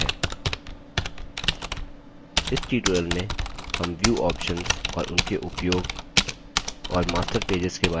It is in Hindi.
इस ट्यूटोरियल में हम व्यू ऑप्शन्स और उनके उपयोग और मास्टर पेजेस के बारे में सीखेंगे